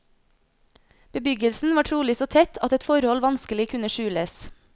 Bebyggelsen var trolig så tett at et forhold vanskelig kunne skjules.